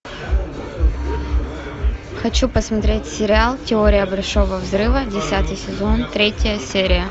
хочу посмотреть сериал теория большого взрыва десятый сезон третья серия